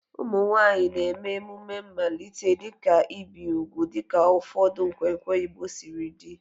Ụmụ nwanyị na-eme emume mmalite, dịka ibi úgwù dịka ụfọdụ nkwenkwe Igbo siri dị.